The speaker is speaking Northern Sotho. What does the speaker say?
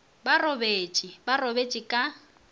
ba robetše ba robetše ka